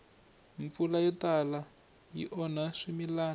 mpfula yo tala yi onha swimilana